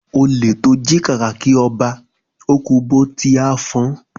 Olè tọ jí kàkàkí ọba, o kú bó tí a fọn.